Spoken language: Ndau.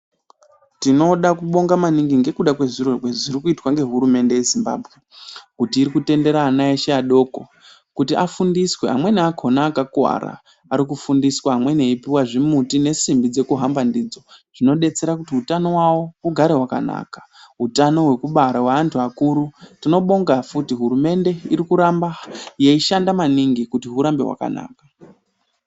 Tinoda kubonga maningi ndekuda kwezviro zviri kuitwa ngehurumende ye Zimbabwe kuti iri kutendera ana eshe adoko kuti afundiswe. Amwene ako akakuvara, ari kufundiswa, amweni eipuwa zvimuti nesimbi dzekuhamba ndidzo, zvinodetsera kuti utano hwavo hugare hwakanaka. Utano hwekubara hweantu akuru, tinobonga futi hurumende iri kuramba yeishanda maningi kuti hurambe hwakanaka.